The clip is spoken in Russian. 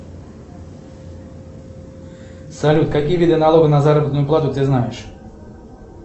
салют какие виды налога на заработную плату ты знаешь